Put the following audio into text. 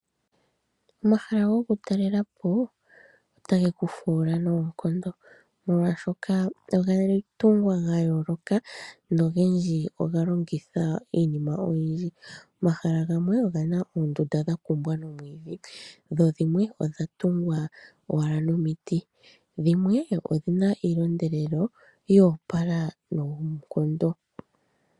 Omahala gokutalela po otage kufuula noonkondo molwaashoka oga tungwa gayooloka, nogendji oga longitha iinima oyindji. Omahala gamwe oge na oondunda dhatungwa nomwiidhi, dho dhimwe odha tungwa owala nomiti, dhimwe odhi na iilondelelo yo opala noonkondo.